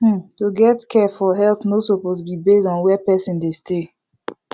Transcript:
hmm to get care for health no suppose be base on where person dey stay